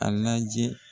A lajɛ